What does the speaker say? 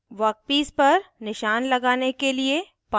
workpiece पर निशान लगाने के लिए पन्च